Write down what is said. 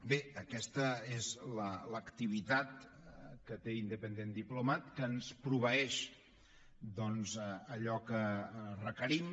bé aquesta és l’activitat que té independent diplomat que ens proveeix doncs d’allò que requerim